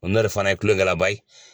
fana ye kulo dala ba ye.